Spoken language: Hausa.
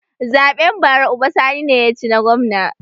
Zaɓen bara uba sani ne ya ci na gwamna